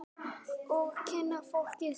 Og kynna fólkið sitt.